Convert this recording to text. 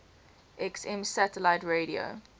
xm satellite radio